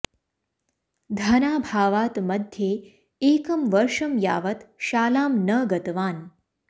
धनाभावात् मध्ये एकं वर्षं यावत् शालां न गतवान्